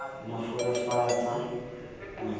nolofatsa le ha ho le